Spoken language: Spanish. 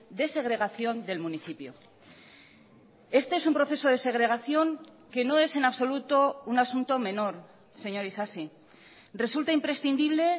de segregación del municipio este es un proceso de segregación que no es en absoluto un asunto menor señor isasi resulta imprescindible